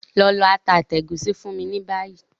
Lọ lọ ata àti ègúsí fún mi ni bayi!